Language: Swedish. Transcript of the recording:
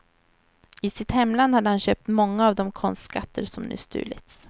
I sitt hemland hade han köpt många av de konstskatter som nu stulits.